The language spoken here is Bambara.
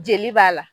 Jeli b'a la